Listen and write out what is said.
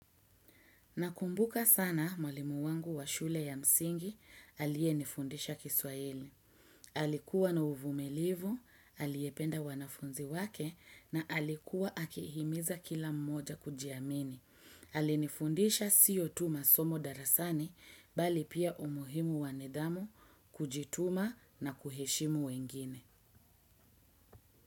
Nakumbuka sana mwalimu wangu wa shule ya msingi alie nifundisha kiswahili. Alikuwa na uvumilivu, aliyependa wanafunzi wake na alikuwa akihimiza kila mmoja kujiamini. Alinifundisha sio tu masomo darasani bali pia umuhimu wa nidhamu kujituma na kuheshimu wengine.